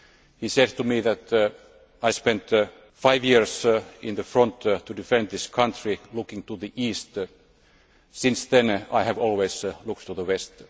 He said to me that he spent five years on the front to defend his country looking to the East, but since then he had always looked to the West.